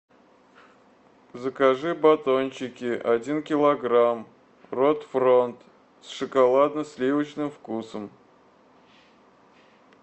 закажи батончики один килограмм рот фронт с шоколадно сливочным вкусом